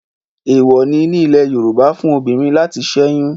Èwọ̀ọ̀ ni ní ilẹ̀ Yorùbá fún obìnrin láti sẹ́yún.